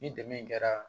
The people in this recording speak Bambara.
Ni dɛmɛ kɛra